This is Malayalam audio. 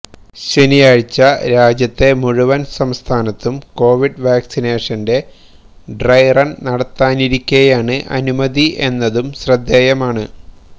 ശനിയാഴ്ച രാജ്യത്തെ മുഴുവൻ സംസ്ഥാനത്തും കോവിഡ് വാക്സിനേഷന്റെ ഡ്രൈ റൺ നടത്താനിരിക്കെയാണ് അനുമതി എന്നതും ശ്രദ്ധേയമാണ്